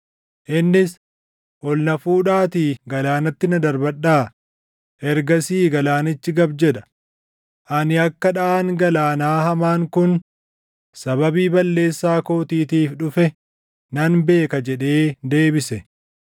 Innis, “Ol na fuudhaatii galaanatti na darbadhaa; ergasii galaanichi gab jedha. Ani akka dhaʼaan galaanaa hamaan kun sababii balleessaa kootiitiif dhufe nan beeka” jedhee deebise.